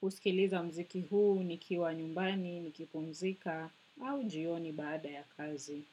husikiliza mziki huu nikiwa nyumbani, nikipumzika au jioni baada ya kazi.